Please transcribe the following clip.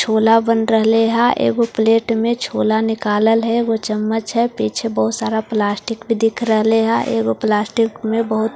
छोला बन रहेहा प्लेट में छोला निकालन है वो चम्मच है पीछे बहुत सारा प्लास्टिक भी दिख रहा है प्लास्टिक में बहुत-----